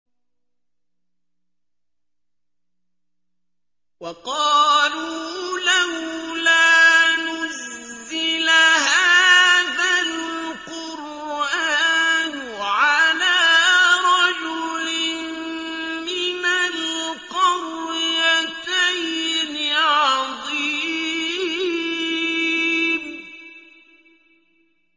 وَقَالُوا لَوْلَا نُزِّلَ هَٰذَا الْقُرْآنُ عَلَىٰ رَجُلٍ مِّنَ الْقَرْيَتَيْنِ عَظِيمٍ